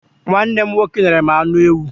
Nwanne m nwoke nyere m anụ ewu.